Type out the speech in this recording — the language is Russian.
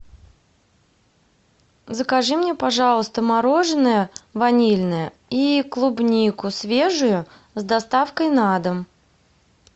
закажи мне пожалуйста мороженое ванильное и клубнику свежую с доставкой на дом